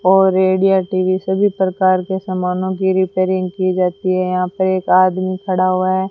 और radio TV सभी प्रकार के समानों की रिपेयरिंग की जाती है यहां पर एक आदमी खड़ा हुआ है।